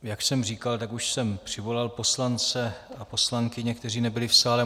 Jak jsem říkal, tak už jsem přivolal poslance a poslankyně, kteří nebyli v sále.